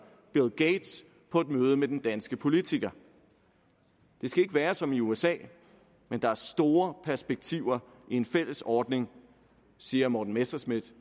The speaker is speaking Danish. bill gates på et møde med den danske politiker det skal ikke være som i usa men der er store perspektiver i en fælles ordning siger morten messerschmidt